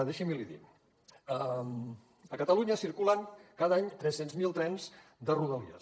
deixi’m l’hi dir a catalunya circulen cada any tres cents miler trens de rodalies